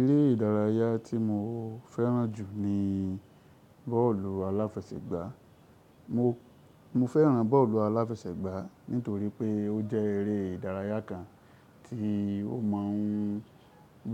Eré ìdárayá tí mo fẹ́ràn jù ní bọ́ọ̀lù aláfẹsẹ̀gbá. Mo fẹ́ràn bọ́ọ̀lù aláfẹsẹ̀gbá nítorí pé ó jẹ́ eré ìdárayá kan tí ó máa ń